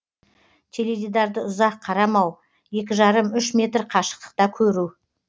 теледидарды ұзақ қарамау екі жарым үш метр қашықтықта көру